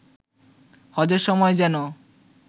হজের সময় যেন